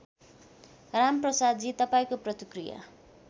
रामप्रसादजी तपाईँको प्रतिकृया